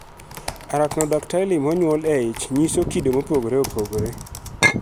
Arachnodactyly monyuol e ich nyiso kido mopogore opogore.